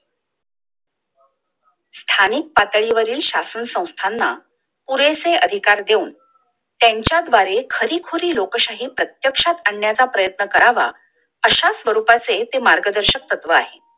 स्थानिक पातळीवरील शासन संस्थांना पुरेसे अधिकार देऊन त्यांच्याद्वारे खरीखुरी लोकशाही प्रत्यक्षात आणण्याच्या प्रयत्न करावा अश्या स्वरूपाचे ते मार्गदर्शक तत्व आहे